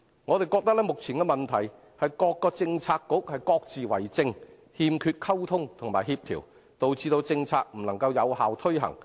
我們覺得，目前的問題是各個政策局各自為政，欠缺溝通及協調，導致政策未能有效推行。